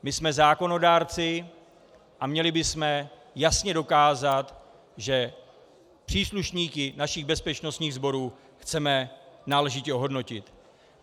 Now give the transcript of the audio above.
My jsme zákonodárci a měli bychom jasně dokázat, že příslušníky našich bezpečnostních sborů chceme náležitě ohodnotit.